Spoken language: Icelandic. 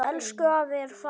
Elsku afi er farinn.